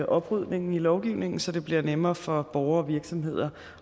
oprydningen i lovgivningen så det bliver nemmere for borgere og virksomheder